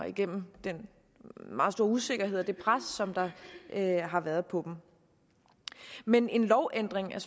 igennem den meget store usikkerhed og det pres som der har været på dem men en lovændring er